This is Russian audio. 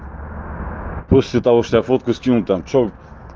после того что я фотографию скину там что